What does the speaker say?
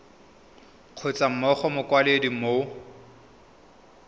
kgotsa mo go mokwaledi mo